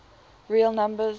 real numbers